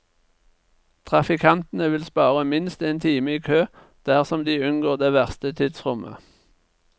Trafikantene vil spare minst én time i kø dersom de unngår det verste tidsrommet.